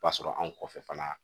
O b'a sɔrɔ anw kɔfɛ fana